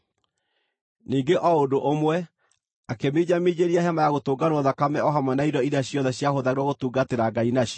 Ningĩ o ũndũ ũmwe, akĩminjaminjĩria Hema-ya-Gũtũnganwo thakame o hamwe na indo iria ciothe ciahũthagĩrwo gũtungatĩra Ngai nacio.